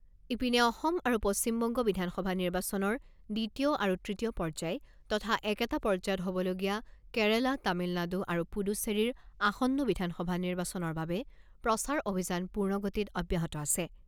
ইপিনে, অসম আৰু পশ্চিমবংগ বিধানসভা নিৰ্বাচনৰ দ্বিতীয় আৰু তৃতীয় পৰ্যায় তথা একেটা পৰ্যায়ত হ'বলগীয়া কেৰালা, তামিলনাডু আৰু পুডুচেৰীৰ আসন্ন বিধানসভা নিৰ্বাচনৰ বাবে প্ৰচাৰ অভিযান পূৰ্ণ গতিত অব্যাহত আছে।